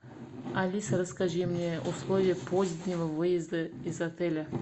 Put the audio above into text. алиса расскажи мне условия позднего выезда из отеля